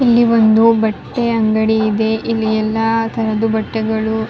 ಇಲ್ಲಿ ಒಂದು ಬಟ್ಟೆ ಅಂಗಡಿ ಇದೆ ಎಲ್ಲ ತರದು ಬಟ್ಟೆಗಳು --